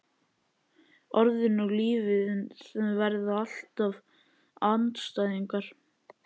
Orðin og lífið verða alltaf andstæðingar.